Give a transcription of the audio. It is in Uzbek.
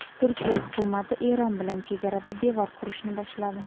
Turkiya hukumati Eron bilan chegarada devor qurishni boshladi.